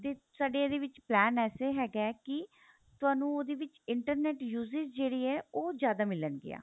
ਤੇ ਸਾਡੇ ਇਹਦੇ ਵਿੱਚ plan ਏਸੇ ਹੈਗਾ ਕੀ ਤੁਹਾਨੂੰ ਉਹਦੇ ਵਿੱਚ internet uses ਜਿਹੜੀ ਏ ਉਹ ਜਿਆਦਾ ਮਿਲਣ ਗੀਆਂ